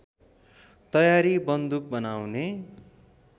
तयारी बन्दुक बनाउने